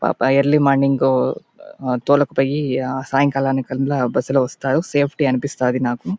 పాపా early morning తోలుకపోయి సాయంత్రానికల్లా బస్సు లో వస్తారు సేఫ్టీ అనిపిస్థాది నాకు.